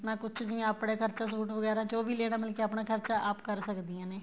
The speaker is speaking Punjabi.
ਨਾ ਪੁੱਛਦਿਆ ਏ ਆਪਣਾ ਖਰਚਾ suit ਵਗੈਰਾ ਜੋ ਵੀ ਲੈਣਾ ਮਤਲਬ ਕੀ ਆਪਣਾ ਖਰਚਾ ਆਪ ਕਰ ਸਕਦੀਆਂ ਨੇ